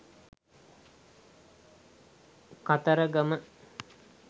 kataragama